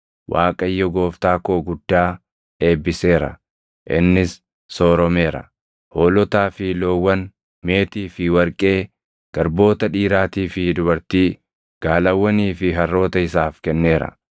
Waaqayyo, gooftaa koo guddaa eebbiseera; innis sooromeera. Hoolotaa fi loowwan, meetii fi warqee, garboota dhiiraatii fi dubartii, gaalawwanii fi harroota isaaf kenneera.